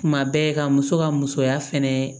Kuma bɛɛ ka muso ka musoya fɛnɛ